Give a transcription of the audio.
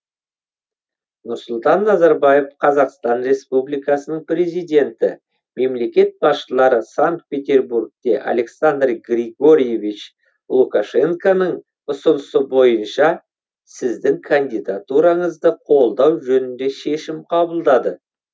нұрсұлтан назарбаев қазақстан республикасының президенті мемлекет басшылары санкт петербургте александр григорьевич лукашенконың ұсынысы бойынша сіздің кандидатураңызды қолдау жөнінде шешім қабылдады